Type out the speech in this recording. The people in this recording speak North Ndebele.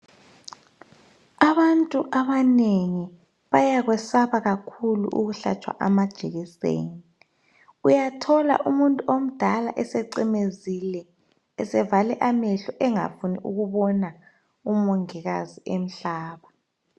Abantu abanengi bayakwesaba kakhulu ukuhlatshwa amajekiseni . Uyathola umuntu omdala esecimezile esevale amehlo engafuni ukubona uMongikazi emhlaba .